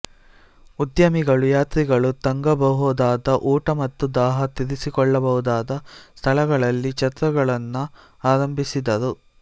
ಉದ್ಯಮಿಗಳು ಯಾತ್ರಿಗಳು ತಂಗಬಹುದಾದ ಊಟ ಮತ್ತು ದಾಹ ತೀರಿಸಿಕೊಳ್ಳಬಹುದಾದ ಸ್ಥಳಗಳಲ್ಲಿ ಛತ್ರಗಳನ್ನು ಆರಂಭಿಸಿದರು